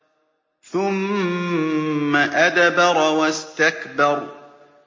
ثُمَّ أَدْبَرَ وَاسْتَكْبَرَ